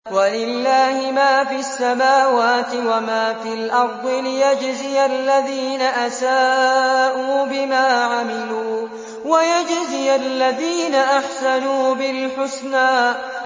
وَلِلَّهِ مَا فِي السَّمَاوَاتِ وَمَا فِي الْأَرْضِ لِيَجْزِيَ الَّذِينَ أَسَاءُوا بِمَا عَمِلُوا وَيَجْزِيَ الَّذِينَ أَحْسَنُوا بِالْحُسْنَى